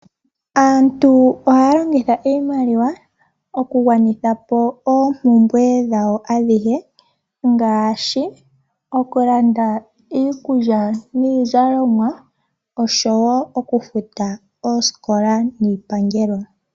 Aantu ohaya longitha iimaliwa oku gwanithapo oompumbwe dhawo adhi e,Ngaashi okulanda iikulya niizalomwa oshowo okufuta oosikola niipangelo.